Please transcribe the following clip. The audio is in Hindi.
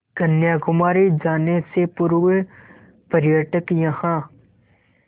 कन्याकुमारी जाने से पूर्व पर्यटक यहाँ